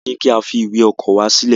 Wọn ní ki a fi ìwé ọkọ wa silẹ.